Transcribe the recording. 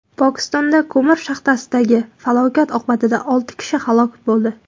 Pokistonda ko‘mir shaxtasidagi falokat oqibatida olti kishi halok bo‘ldi.